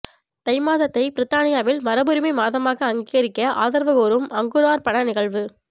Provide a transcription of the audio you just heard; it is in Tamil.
தை மாதத்தை பிரித்தானியாவில் மரபுரிமை மாதமாக அங்கீகரிக்க ஆதரவு கோரும் அங்குரார்ப்பண நிகழ்வு